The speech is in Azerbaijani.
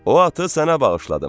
O atı sənə bağışladım.